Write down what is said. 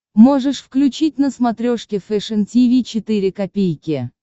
можешь включить на смотрешке фэшн ти ви четыре ка